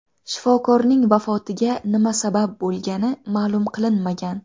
Shifokorning vafotiga nima sabab bo‘lgani ma’lum qilinmagan.